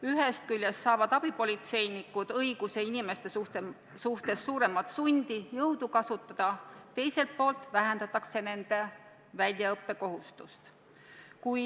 Ühest küljest saavad abipolitseinikud õiguse kasutada inimeste suhtes suuremat sundi, jõudu, teiselt poolt vähendatakse nende väljaõppekohustust.